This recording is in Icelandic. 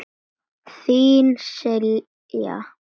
Þín, Silja.